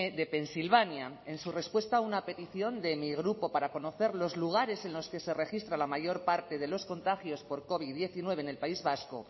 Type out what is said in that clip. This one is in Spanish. de pensilvania en su respuesta a una petición de mi grupo para conocer los lugares en los que se registra la mayor parte de los contagios por covid diecinueve en el país vasco